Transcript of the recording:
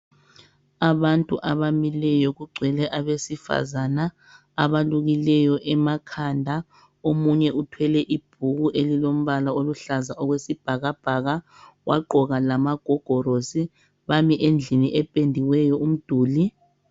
Abantu abamileyo, kugcwele abesifazana. Abalukileyo emakhanda. Omunye uthwele ibhuku, elilombala oluhlaza, okwesibhakabhaka. Wagqoka lamagogorosi. Bami endlini ependiweyo umduli.